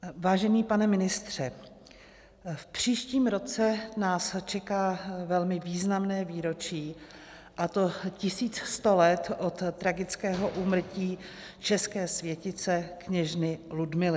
Vážený pane ministře, v příštím roce nás čeká velmi významné výročí, a to 1100 let od tragického úmrtí české světice kněžny Ludmily.